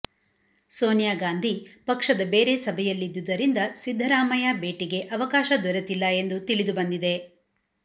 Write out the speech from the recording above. ಸೋನಿಯಾ ಗಾಂಧಿ ಪಕ್ಷದ ಬೇರೆ ಸಭೆಯಲ್ಲಿದ್ದುದರಿಂದ ಸಿದ್ದರಾಮಯ್ಯ ಭೇಟಿಗೆ ಅವಕಾಶ ದೊರೆತಿಲ್ಲ ಎಂದು ತಿಳಿದು ಬಂದಿದೆ